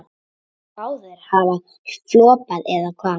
Báðir hafa floppað, eða hvað?